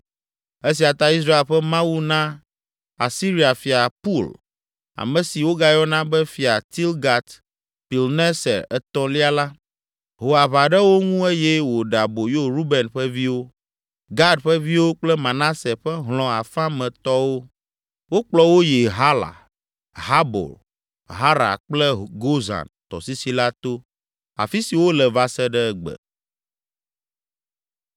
Esia ta Israel ƒe Mawu na Asiria fia Pul (ame si wogayɔna be Fia Tilgat Pilneser Etɔ̃lia la), ho aʋa ɖe wo ŋu eye wòɖe aboyo Ruben ƒe viwo, Gad ƒe viwo kple Manase ƒe hlɔ̃ afã me tɔwo. Wokplɔ wo yi Hala, Habor, Hara kple Gozan tɔsisi la to, afi si wole va se ɖe egbe.